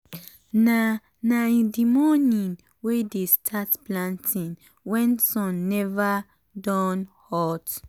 na na in the morning we dey start planting wen sun neva don hot.